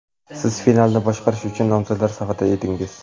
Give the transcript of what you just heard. Siz finalni boshqarish uchun nomzodlar safida edingiz.